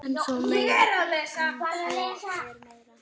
En svo er meira.